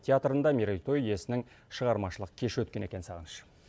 театрында мерейтой иесінің шығармашылық кеші өткен екен сағыныш